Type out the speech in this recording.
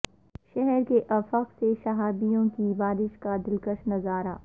شہر کے افق سے شہابیوں کی بارش کا دلکش نظارہ